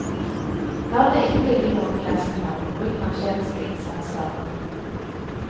Her vil det ikke ligge noen begrensninger på bruken av kjemiske innsatsvarer.